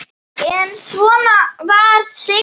En svona var Sigga.